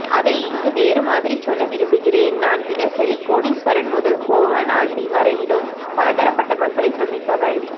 அதை இங்கு வேறு மாதிரி சொல்ல விரும்புகிறேன் நான் தினசரி கோடிஸ்வரன் முதல் கோவணாண்டி வரையிலும் பலதரப்பட்ட மக்களை சந்திப்பவன்